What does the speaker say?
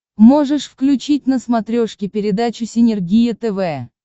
можешь включить на смотрешке передачу синергия тв